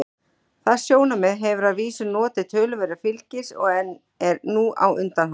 Það sjónarmið hefur að vísu notið töluverðs fylgis en er nú á undanhaldi.